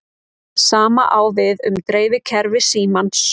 Sama á við um dreifikerfi símans.